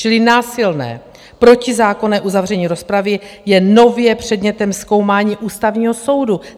Čili násilné protizákonné uzavření rozpravy je nově předmětem zkoumání Ústavního soudu.